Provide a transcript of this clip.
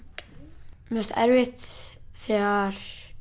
mér fannst erfitt þegar